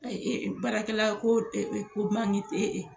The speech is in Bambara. baarakɛla ko ko tɛ